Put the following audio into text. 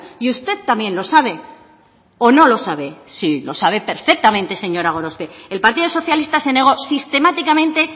y usted también lo sabe o no lo sabe sí lo sabe perfectamente señora gorospe el partido socialista se negó sistemáticamente